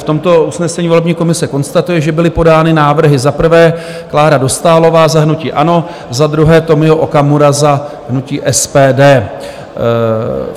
V tomto usnesení volební komise konstatuje, že byly podány návrhy: za prvé Klára Dostálová za hnutí ANO, za druhé Tomio Okamura za hnutí SPD.